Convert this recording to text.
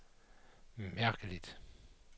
mærkeligt